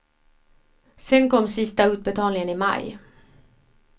Sedan kom sista utbetalningen i maj.